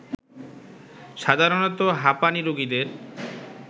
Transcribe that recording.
সাধারণতঃ হাঁপানী রোগীদের